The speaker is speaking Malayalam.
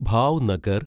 ഭാവ്നഗർ